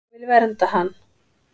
Ég vil vernda hann.